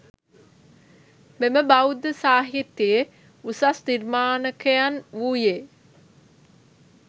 මෙම බෞද්ධ සාහිත්‍යයේ උසස් නිර්මාණකයන් වූයේ